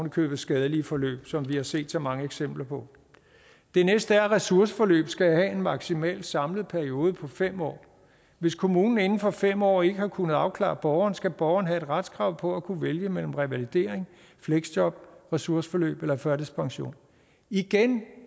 i købet skadelige forløb som vi har set så mange eksempler på det næste er at ressourceforløbet skal have en maksimal samlet periode på fem år hvis kommunen inden for fem år ikke har kunnet afklare borgeren skal borgeren have et retskrav på at kunne vælge mellem revalidering fleksjob ressourceforløb eller førtidspension igen